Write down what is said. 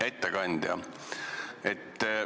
Hea ettekandja!